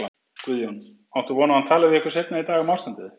Guðjón: Áttu von á að hann tali við ykkur seinna í dag um ástandið?